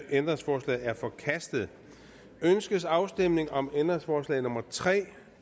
ændringsforslaget er forkastet ønskes afstemning om ændringsforslag nummer tre